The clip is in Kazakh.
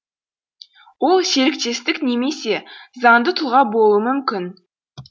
ол серіктестік немесе заңды тұлға болуы мүмкін